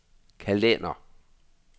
kalender